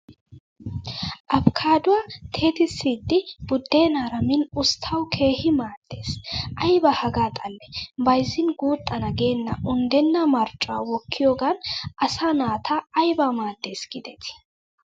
Abkaadduwa teetissidi buddeenaara min usttawu keehi maaddes. Ayiba hagaa xallee bayizzin guuxana geenna unddenna marccuwa wkkiyoogan asaa naata ayiba maaddes giidetii!